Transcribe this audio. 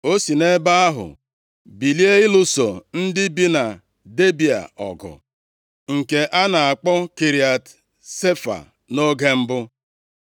O si nʼebe ahụ bilie ịlụso ndị bi na Debịa ọgụ. Nke a na-akpọ Kiriat Sefa nʼoge mbụ.